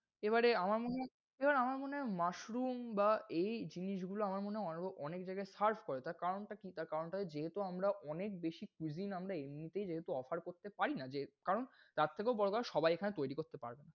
এবারে আমার মনে হয়, এবারে আমার মনে হয় mushroom বা এই জিনিসগুলো আমার মনে হয় অনে~অনেক জায়গাই serve করে। তার কারণটা কি? তার কারণটা যেহেতু আমরা অনেক বেশি cuisine । আমরা এমনিতেই যেহেতু offer করতে পারি না, জে~কারণ তার থেকেও বড় কথা সবাই এখানে তৈরি করতে পারবে না।